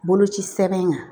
Boloci sɛbɛn in kan